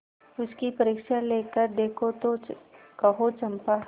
उसकी परीक्षा लेकर देखो तो कहो चंपा